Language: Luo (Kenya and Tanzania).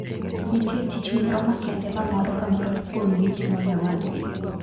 Nitie tich moro makende ma moro ka moro kuomgi timo ne wadgi.